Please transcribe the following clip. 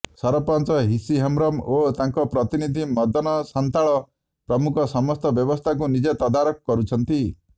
ସରପଞ୍ଚ ହିସି ହେମ୍ରମ ଓ ତାଙ୍କ ପ୍ରତିନିଧି ମଦନ ସାନ୍ତାଳ ପ୍ରମୁଖ ସମସ୍ତ ବ୍ୟବସ୍ଥାକୁ ନିଜେ ତଦାରଖ କରୁଛନ୍ତି